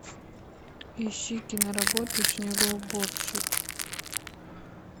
ищи киноработу снегоуборщик